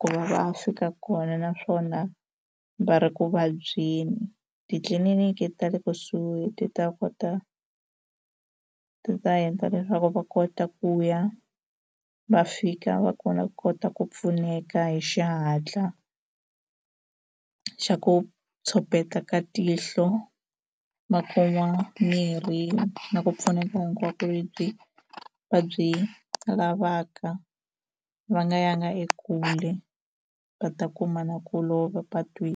ku va va fika kona naswona va ri ku vabyeni titliliniki ta le kusuhi ti ta kota ti ta endla leswaku va kota ku ya va fika va kona va kota ku pfuneka hi xihatla xa ku copeta ka tihlo va kuma mirhi na ku pfuneka hinkwako lebyi va byi lavaka va nga yanga ekule va ta kuma na ku lova .